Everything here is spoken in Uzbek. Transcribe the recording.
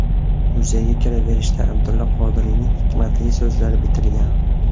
Muzeyga kiraverishda Abdulla Qodiriyning hikmatli so‘zlari bitilgan.